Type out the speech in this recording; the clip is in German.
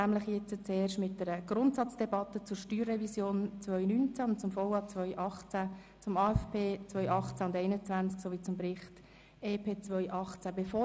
Wir starten mit einer Grundsatzdebatte zur StG-Revision 2019, zum VA 2018, zum AFP 2018 sowie zum Bericht über das EP 2018.